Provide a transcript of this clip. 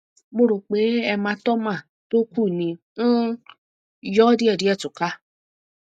mo rò pé hematoma tó kù ni um yóò díẹdíẹ túká